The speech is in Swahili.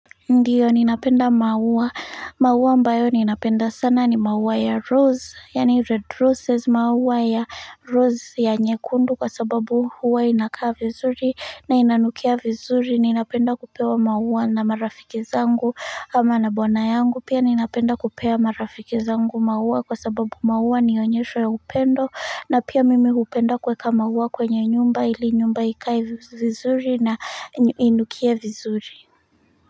Ndio, ninapenda maua, maua ambayo ninapenda sana ni maua ya rose, yani red roses, maua ya rose ya nyekundu kwa sababu huwa inakaa vizuri na inanukia vizuri, ninapenda kupewa maua na marafiki zangu ama na bwana yangu, pia ninapenda kupea marafiki zangu maua kwa sababu maua nionyesho ya upendo na pia mimi hupenda kuweka maua kwenye nyumba ili nyumba ikae vizuri na inukie vizuri.